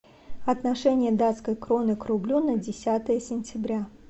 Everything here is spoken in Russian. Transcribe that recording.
отношение датской кроны к рублю на десятое сентября